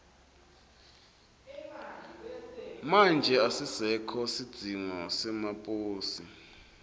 manje asisekho sidzingo semaposi